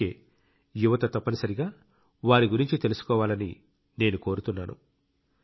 అందుకే యువత తప్పనిసరిగా వారి గురించి తెలుసుకోవాలని నేను కోరుతున్నాను